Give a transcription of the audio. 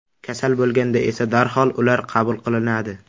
Kasal bo‘lganda esa darhol ular qabul qilinadi.